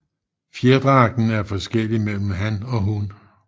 Fjerdragten er forskellig mellem han og hun